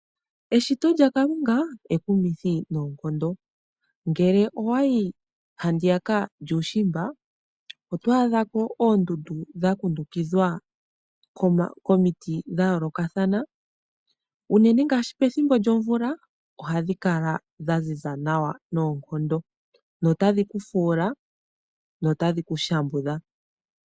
Eshito lyakalunga ekumithi noonkondo. Ngele owayi handiyaka lyuushimba oto adhako oondundu dha kundukidhwa komiti dha yoolokathana. Unene ngaashi pethimbo lyomvula ohadhi kala dha ziza nawa noonkondo na otadhi kufuula ngweye to shambudhwa.